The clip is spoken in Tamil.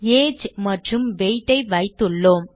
ஏஜ் மற்றும் weight ஐ வைத்துள்ளோம்